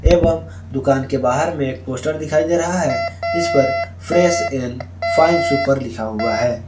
एवं दुकान के बाहर में एक पोस्टर दिखाई दे रहा है जिस फ्रेश एंड फाइन सुपर पर लिखा हुआ है।